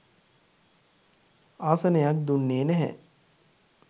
ආසනයක් දුන්නේ නැහැ.